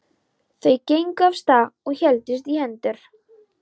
Þau gengu af stað og héldust í hendur.